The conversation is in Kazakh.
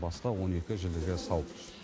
басқа он екі жілігі сау